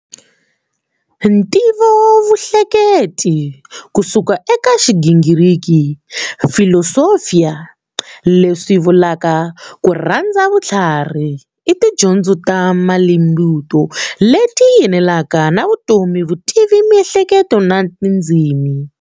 Ntivovuhleketi, kusuka eka Xigingiriki,"philosophia", leswi vulaka"Kurhandza vuthlarhi", i tidyondzo ta mintlimbo leyi yelanaka na vutomi, vutivi, miehleketo na tindzimi.